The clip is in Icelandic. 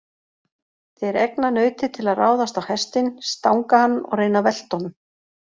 Þeir egna nautið til að ráðast á hestinn, stanga hann og reyna að velta honum.